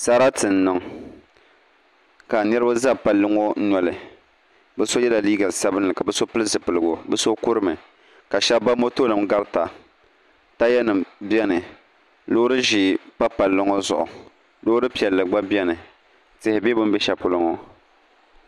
Sarati n niŋ ka niraba ʒɛ palli ŋɔ nɔli bi yɛla liiga sabinli ka bi so pili zipiligu bi so kurimi ka shab ba moto nim garita taaya nim biɛni loori ʒiɛ pa palli ŋɔ zuɣu loori piɛlli gba biɛni tihi bɛ bi ni bɛ shɛli polo ŋɔ